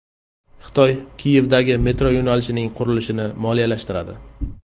Xitoy Kiyevdagi metro yo‘nalishining qurilishini moliyalashtiradi.